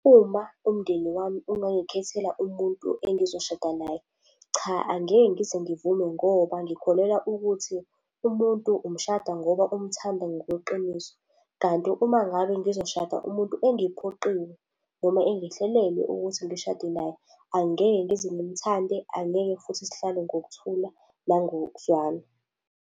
Uma umndeni wami ungangikhethela umuntu engizoshada naye, cha, angeke ngize ngivume ngoba ngikholelwa ukuthi umuntu umshada ngoba umthanda ngokweqiniso. Kanti uma ngabe ngizoshada umuntu engiphoqiwe noma engihlelelwe ukuthi ngishade naye, angeke ngize ngimthande, angeke futhi sihlale ngokuthula nangokuzwana.